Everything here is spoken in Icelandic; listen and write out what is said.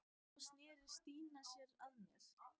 Svo sneri Stína sér að mér.